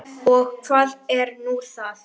Og hvað er nú það?